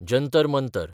Jantar Mantar